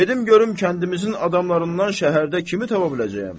Gedim görüm kəndimizin adamlarından şəhərdə kimi tapa biləcəyəm.